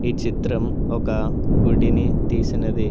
ఈ చిత్రం ఒక గుడిని తీసినది.